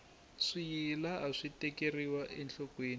swiyila aswi tekeriwa enhlokweni